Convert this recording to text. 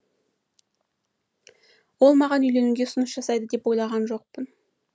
ол маған үйленуге ұсыныс жасайды деп ойлаған жоқпын